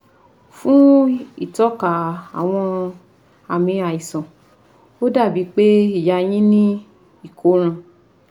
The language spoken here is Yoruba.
Fún ìtọ́ka àwọn àmì àìsàn ó dà bí i pé ìyá yín ní ìkóràn